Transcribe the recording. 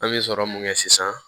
An bɛ sɔrɔ mun kɛ sisan